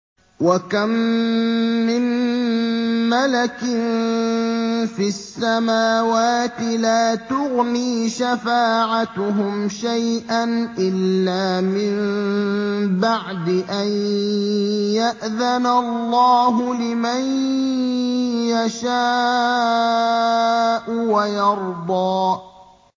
۞ وَكَم مِّن مَّلَكٍ فِي السَّمَاوَاتِ لَا تُغْنِي شَفَاعَتُهُمْ شَيْئًا إِلَّا مِن بَعْدِ أَن يَأْذَنَ اللَّهُ لِمَن يَشَاءُ وَيَرْضَىٰ